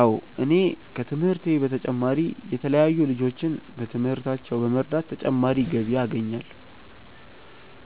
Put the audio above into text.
አዎ እኔ ከትምህርቴ በተጨማሪ የተለያዩ ልጆችን በትምህርታቸው በመርዳት ተጨማሪ ገቢ አገኛለሁ።